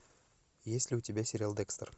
есть ли у тебя сериал декстер